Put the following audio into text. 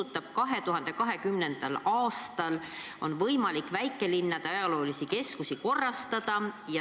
Ka 2020. aastal on võimalik väikelinnade ajaloolisi keskusi korrastada.